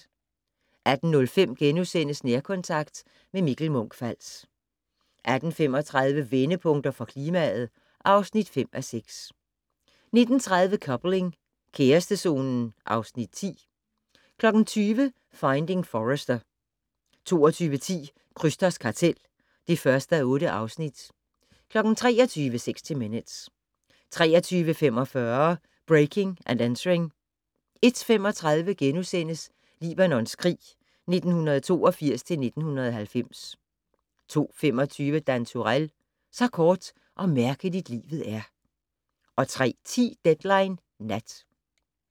18:05: Nærkontakt - med Mikkel Munch-Fals * 18:35: Vendepunkter for klimaet (5:6) 19:30: Coupling - kærestezonen (Afs. 10) 20:00: Finding Forrester 22:10: Krysters kartel (1:8) 23:00: 60 Minutes 23:45: Breaking and Entering 01:35: Libanons krig 1982-1990 (2:3)* 02:25: Dan Turèll - Så kort og mærkeligt livet er 03:10: Deadline Nat